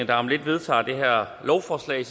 der om lidt vedtager det her lovforslag